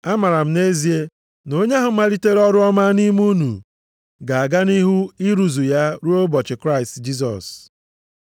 Amaara m nʼezie, na onye ahụ malitere ọrụ ọma nʼime unu, ga-aga nʼihu ịrụzu ya ruo ụbọchị Kraịst Jisọs.